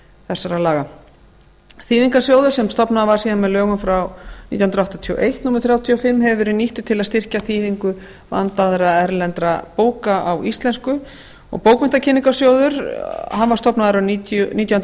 þessara laga þýðingarsjóður sem stofnaður var síðan með lögum frá nítján hundruð áttatíu og eitt númer þrjátíu og fimm hefur verið nýttur til að styrkja þýðingu vandaðra erlendra bóka á íslensku og bókmenntakynningarsjóður var stofnaður árið nítján hundruð